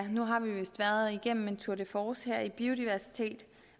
nu har vi vist været igennem en tour de force i biodiversitet